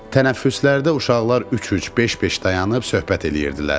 Tənəffüslərdə uşaqlar üç-üç, beş-beş dayanıb söhbət eləyirdilər.